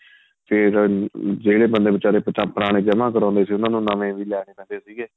ਤੇ ਜਿਹੜੇ ਬੰਦੇ ਬੀਚਾਰੇ ਪੁਰਾਣੇ ਜਮਾਂ ਕਰਵਾਉਦੇ ਸੀ ਉਹਨਾ ਨੂੰ ਨਵੇਂ ਵੀ ਲੈਣੇ ਪੈਂਦੇ ਸੀਗੇ